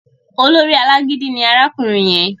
Olórí alágídí ni arákùnrin yẹn